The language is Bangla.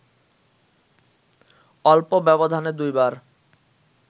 অল্প ব্যবধানে দুইবার